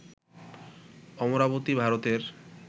অমরাবতী, ভারতের